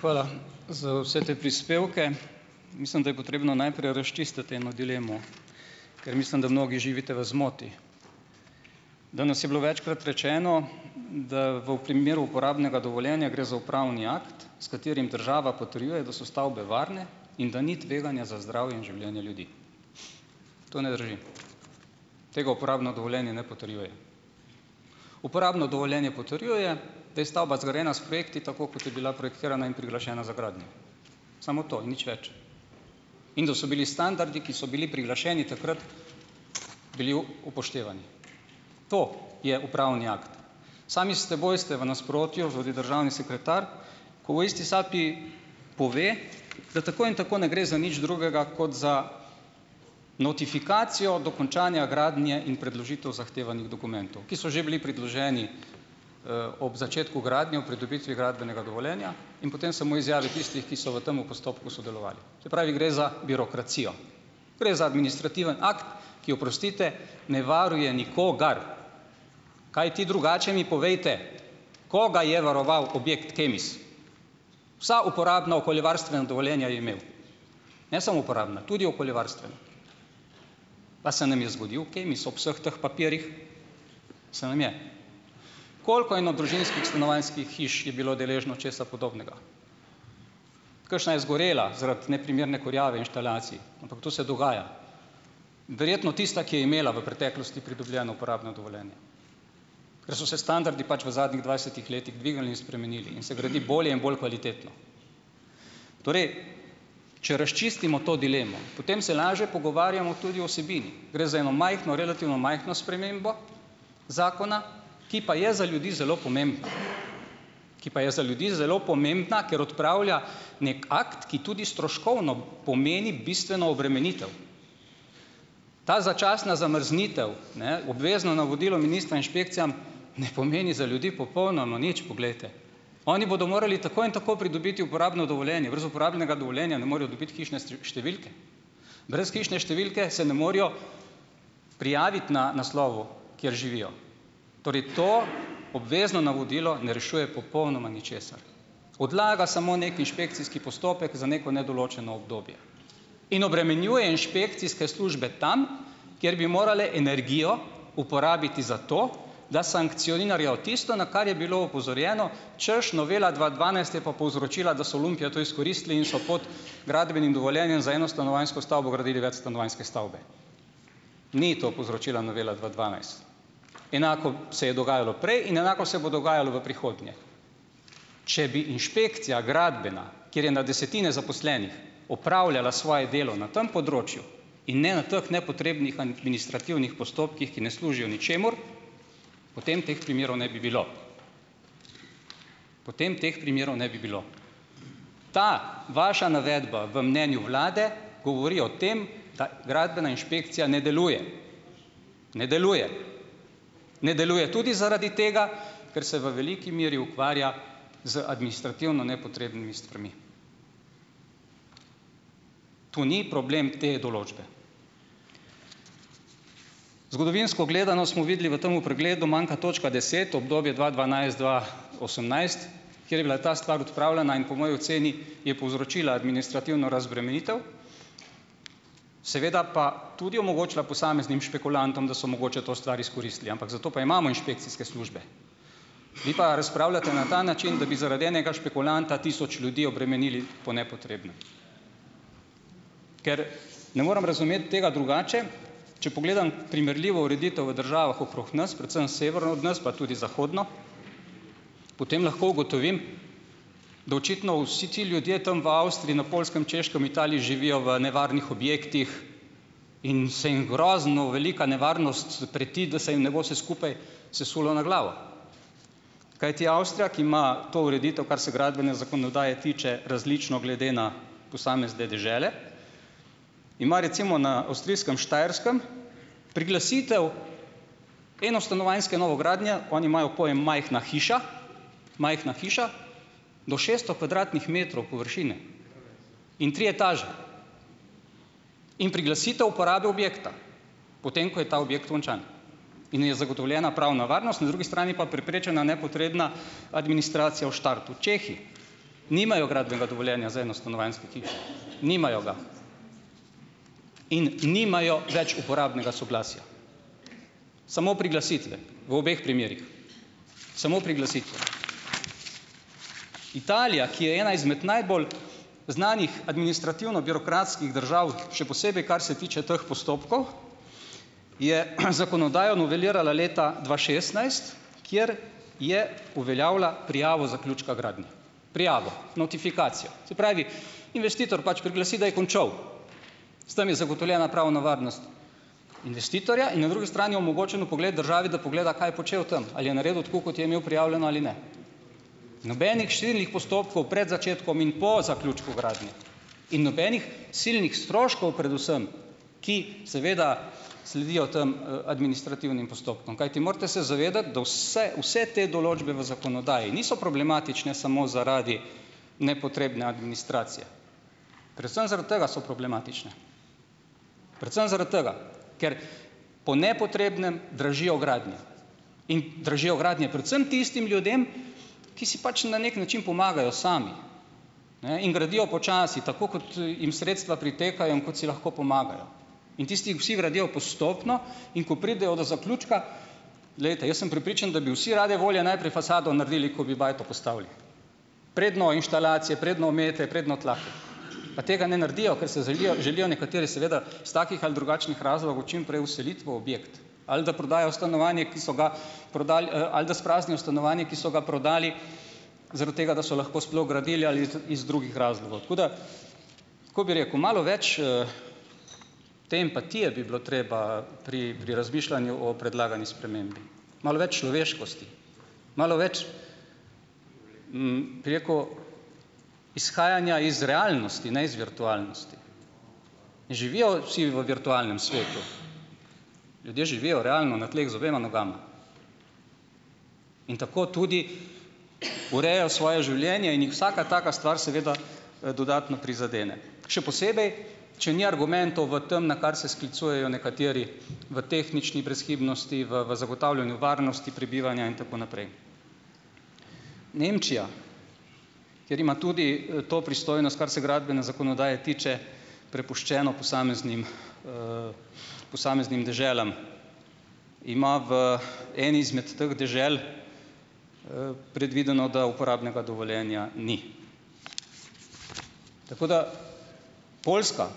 Hvala za vse te prispevke. Mislim, da je potrebno najprej razčistiti eno dilemo, ker mislim, da mnogi živite v zmoti. Danes je bilo večkrat rečeno, da v v primeru uporabnega dovoljenja gre za upravni akt, s katerim država potrjuje, da so stavbe varne in da ni tveganja za zdravje in življenje ljudi. To ne drži. Tega uporabno dovoljenje ne potrjuje. Uporabno dovoljenje potrjuje, da je stavba zgrajena s projekti tako, kot je bila projektirana in priglašena za gradnjo. Samo to, nič več. In da so bili standardi, ki so bili priglašeni takrat, bili upoštevani. To je upravni akt. Sami s seboj ste v nasprotju, tudi državni sekretar, ko v isti sapi pove, da tako in tako ne gre za nič drugega kot za notifikacijo dokončanja gradnje in predložitev zahtevanih dokumentov, ki so že bili predloženi ob začetku gradnje ob pridobitvi gradbenega dovoljenja in potem samo izjave tistih, ki so v tem postopku sodelovali. Se pravi gre za birokracijo. Gre za administrativni akt, ki oprostite, ne varuje nikogar. Kajti drugače mi povejte, koga je varoval objekt Kemis? Vsa uporabna okoljevarstvena dovoljenja je imel. Ne samo uporabna, tudi okoljevarstvena. Pa se nam je zgodil Kemis ob vseh teh papirjih. Se nam je. Koliko enodružinskih stanovanjskih hiš je bilo deležno česa podobnega? Kakšna je zgorela zaradi neprimerne kurjave inštalacij, ampak to se dogaja. Verjetno tista, ki je imela v preteklosti pridobljeno uporabno dovoljenje. Ker so se standardi pač v zadnjih dvajsetih letih dvignili in spremenili in se gradi bolje in bolj kvalitetno. Torej, če razčistimo to dilemo, potem se lažje pogovarjamo tudi o vsebini. Gre za eno majhno, relativno majhno spremembo zakona, ki pa je za ljudi zelo pomembna. Ki pa je za ljudi zelo pomembna, ker odpravlja neki akt, ki tudi stroškovno pomeni bistveno obremenitev. Ta začasna zamrznitev, ne obvezno navodilo ministra inšpekcijam, ne pomeni za ljudi popolnoma nič, poglejte. Oni bodo morali tako in tako pridobiti uporabno dovoljenje. Brez uporabnega dovoljenja ne morejo dobiti hišne številke, brez hišne številke se ne morejo prijaviti na naslovu, kjer živijo. Torej to obvezno navodilo ne rešuje popolnoma ničesar. Odlaga samo neki inšpekcijski postopek za neko nedoločeno obdobje in obremenjuje inšpekcijske službe tam, kjer bi morale energijo uporabiti zato, da sankcionirajo tisto, na kar je bilo opozorjeno, hočeš novela dva dvanajst je pa povzročila, da so lumpi jo to izkoristili in so pod gradbenim dovoljenjem za enostanovanjsko stavbo gradili večstanovanjske stavbe. Ni to povzročila novela dva dvanajst. Enako se je dogajalo prej in enako se bo dogajalo v prihodnje. Če bi inšpekcija, gradbena, kjer je na desetine zaposlenih, opravljala svoje delo na tem področju in ne na teh nepotrebnih administrativnih postopkih, ki ne služijo ničemur, potem teh primerov ne bi bilo. Potem teh primerov ne bi bilo. Ta vaša navedba v mnenju vlade govori o tem, da gradbena inšpekcija ne deluje. Ne deluje. Ne deluje tudi zaradi tega, ker se v veliki miru ukvarja z administrativno nepotrebnimi stvarmi. To ni problem te določbe. Zgodovinsko gledano smo videli v temu pregledu, manjka točka deset, obdobje dva dvanajst- osemnajst, kjer je bila ta stvar odpravljena in po moji oceni je povzročila administrativno razbremenitev, seveda pa tudi omogočila posameznim špekulantom, da so mogoče to stvar izkoristili, ampak zato pa imamo inšpekcijske službe. Vi pa razpravljate na ta način, da bi zaradi enega špekulanta tisoč ljudi obremenili po nepotrebnem, ker ne morem razumeti tega drugače, če pogledam primerljivo ureditev v državah okrog nas, predvsem severno od nas pa tudi zahodno, potem lahko ugotovim, da očitno vsi ti ljudje tam v Avstriji, na Poljskem, Češkem, v Italiji živijo v nevarnih objektih in se jim grozno velika nevarnost preti, da se jim ne bo se skupaj sesulo na glavo, kajti Avstrija, ki ima to ureditev, kar se gradbene zakonodaje tiče, različno glede na posamezne dežele, ima recimo na avstrijskem Štajerskem priglasitev enostanovanjske novogradnje, oni imajo pojem majhna hiša, majhna hiša do šeststo kvadratnih metrov površine in tri etaže, in priglasitev uporabe objekta, potem ko je ta objekt končan in je zagotovljena pravna varnost, na drugi strani pa preprečena nepotrebna administracija v štartu. Čehi. Nimajo gradbenega dovoljenja za enostanovanjske hiše. Nimajo ga. In nimajo več uporabnega soglasja, samo priglasitve. V obeh primerih samo priglasitve. Italija, ki je ena izmed najbolj znanih administrativno-birokratskih držav, še posebej kar se tiče teh postopkov, je zakonodajo novelirala leta dva šestnajst, kjer je uveljavila prijavo zaključka gradnje. Prijavo, notifikacijo. Se pravi, investitor pač priglasi, da je končal, s tem je zagotovljena pravna varnost investitorja in na drugi strani omogočen vpogled državi, da pogleda, kaj je počel tam, ali je naredil tako, kot je imel prijavljeno ali ne. Nobenih širnih postopkov pred začetkom in po zaključku gradnje in nobenih silnih stroškov predvsem. Ki seveda sledijo tam administrativnim postopkom, kajti morate se zavedati, da vse vse te določbe v zakonodaji niso problematične samo zaradi nepotrebne administracije, predvsem zaradi tega so problematične. Predvsem zaradi tega, ker po nepotrebnem dražijo gradnje in dražijo gradnje predvsem tistim ljudem, ki si pač na neki način pomagajo sami, ne, in gradijo počasi, tako kot jim sredstva pritekajo in kot si lahko pomagajo, in tisti vsi gradijo postopno, in ko pridejo do zaključka, glejte, jaz sem prepričan, da bi vsi rade volje najprej fasado naredili, ko bi bajto postavili, preden inštalacije predno omete predno tla, pa tega ne naredijo, ker se zelijo želijo nekateri seveda iz takih ali drugačnih razlogov čim prej vseliti v objekt, ali da prodajo stanovanje, ki so ga, prodali, ali da spraznijo stanovanje, ki so ga prodali zaradi tega, da so lahko sploh gradili ali iz iz drugih razlogov. Tako da, tako bi rekel, malo več te empatije bi bilo treba pri pri razmišljanju o predlagani spremembi, malo več človeškosti, malo več, bi rekel, izhajanja iz realnosti ne iz virtualnosti. Ne živijo vsi v virtualnem svetu. Ljudje živijo realno na tleh z obema nogama. In tako tudi urejajo svoje življenje in jih vsaka taka stvar seveda dodatno prizadene, še posebej če ni argumentov v tem, na kar se sklicujejo nekateri v tehnični brezhibnosti, v v zagotavljanju varnosti prebivanja in tako naprej. Nemčija, kjer ima tudi to pristojnost, kar se gradbene zakonodaje tiče, prepuščeno posameznim posameznim deželam, ima v eni izmed teh dežel predvideno, da uporabnega dovoljenja ni. Tako da Poljska